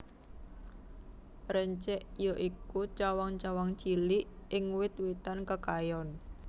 Rencek ya iku cawang cawang cilik ing wit witan kekayon